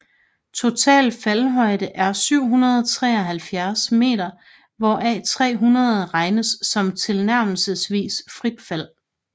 Total faldhøjde er 773 meter hvoraf 300 regnes som tilnærmelsesvist frit fald